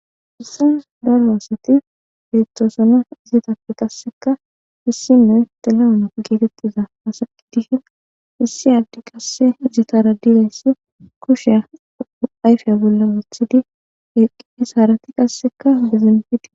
Hissas daroasati beettoosana izetappe qasseka hissiney telamuna geetettiza asaki dihin issi aaddi qasse izatara dirayssi kushiya ayfiya bolla wothidi eqqie saarati qasseka bizinpidi.